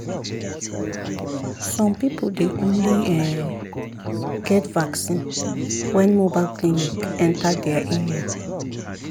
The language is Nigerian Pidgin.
some people dey only[um]get vaccine when mobile clinic enter their area.